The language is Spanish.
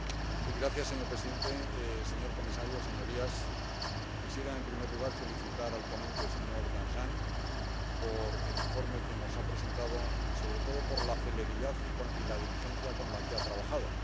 Señor presidente, señor comisario, señorías, quisiera, en primer lugar, felicitar al ponente, señor Danjean, por el informe que nos ha presentado y sobre todo por la celeridad y la diligencia con la que ha trabajado.